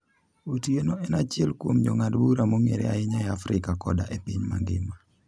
Otieno en achiel kuom jong'ad bura mong'ere ahinya e Afrika koda e piny mangima.